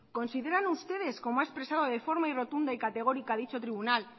consideran ustedes como ha expresado de forma rotunda y categórica dicho tribunal